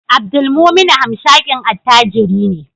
Abdulmumuni hamshakin attajiri ne